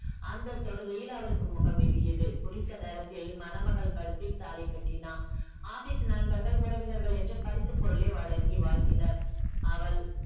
அந்தத்தொடுகையில் அவளுக்கு முகம் இருகியது குறித்த நேரத்தில் மணமகள் கழுத்தில் தாலி கட்டினான் office நண்பர்கள் உறவினர்கள் என்று பரிசு பொருளை வழங்கி வாழ்த்தினர் அவள்